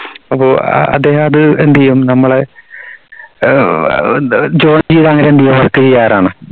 അപ്പോ അ അദ്ദേഹം അത് എന്ത് ചെയ്യും work എയ്യാറാണ്